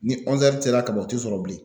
Ni kaban u ti sɔrɔ bilen.